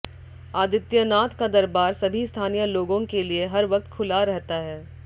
आदित्यनाथ का दरबार सभी स्थानीय लोगों के लिए हर वक्त खुला रहता है